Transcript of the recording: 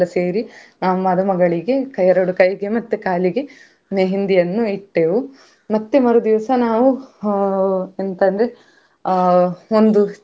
ಬಗೆ ಬಗೆಯ ಹಾವುಗಳು ಇದ್ವು ಅದನ್ನು ನೋಡ್ಲಿಕ್ಕೂ ಸಹ ತುಂಬಾ ದೊಡ್ಡ ದೊಡ್ಡದು, ಭಯ ಆಗ್ತದೆ ಅದನ್ನ್ ನೋಡುವಾಗ್ಲೇ. ಆ ಈ ದೇಶದಲ್ಲದೇ ಬೇರೆ ದೇಶದ ಹಾವುಗಳು ಕೂಡ ಇದ್ದವು ಮತ್ತೇ ಅಲ್ಲಿ ನಮ್ಗೆ.